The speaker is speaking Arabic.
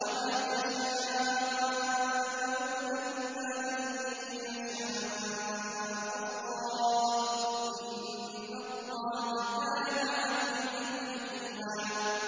وَمَا تَشَاءُونَ إِلَّا أَن يَشَاءَ اللَّهُ ۚ إِنَّ اللَّهَ كَانَ عَلِيمًا حَكِيمًا